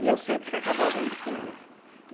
E eu sempre que acabava indo com ele.